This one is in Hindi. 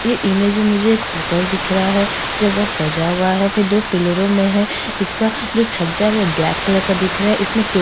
ये इमेज में मुझे होटल दिख रहा हैं जो वह सजा हुआ है दो पिलरो में हैं इसका जो छज्जा है वो ब्लैक कलर का दिख रहा है इसमें टोकरी--